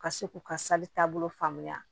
Ka se k'u ka taabolo faamuya